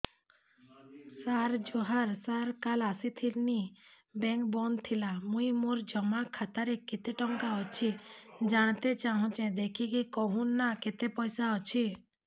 ସାର ଜୁହାର ସାର କାଲ ଆସିଥିନି ବେଙ୍କ ବନ୍ଦ ଥିଲା ମୁଇଁ ମୋର ଜମା ଖାତାରେ କେତେ ଟଙ୍କା ଅଛି ଜାଣତେ ଚାହୁଁଛେ ଦେଖିକି କହୁନ ନା କେତ ପଇସା ଅଛି